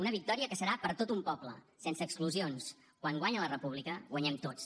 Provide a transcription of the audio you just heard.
una victòria que serà per a tot un poble sense exclusions quan guanya la república guanyem tots